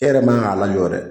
E yɛrɛ man k'a lajɔ yɛrɛ